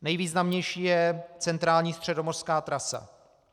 Nejvýznamnější je centrální středomořská trasa.